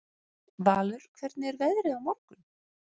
Valur, hvernig er veðrið á morgun?